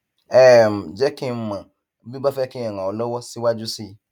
um jẹ kí n mọ bí o bá fẹ kí n ràn ọ lọwọ síwájú sí i